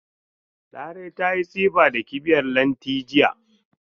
Larai ta yi tsifa da kibiyar Lanti jiya.